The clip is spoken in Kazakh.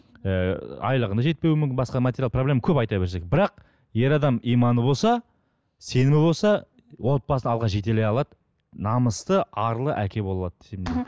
і айлығына жетпеуі мүмкін басқа материалдық проблема көп айта берсек бірақ ер адам иманы болса сенімі болса отбасын алға жетей алады намысты арлы әке бола алады десем